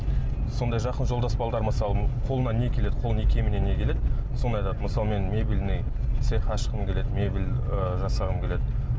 сондай жақын жолдас балалар мысалы қолынан не келеді қолының икеміне не келеді сондай зат мысалы мен мебельный цех ашқым келеді мебель ы жасағым келеді